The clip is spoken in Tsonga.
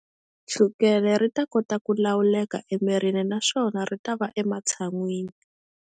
Chukele ri ta kota ku lawuleka emirini naswona ri ta va ematshan'wini.